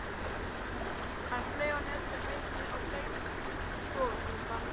Hann flaug að neðri hæðinni og gægðist inn um stofugluggann.